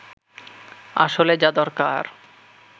আসলে যা দরকার